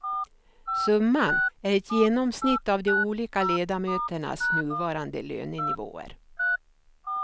Summan är ett genomsnitt av de olika ledamöternas nuvarande lönenivåer.